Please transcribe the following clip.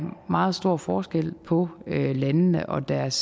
meget stor forskel på landene og deres